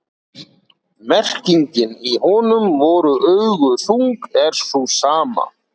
Merkingin í honum voru augu þung er sú sama.